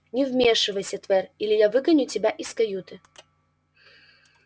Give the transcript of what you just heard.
не вмешивайся твер или я выгоню тебя из каюты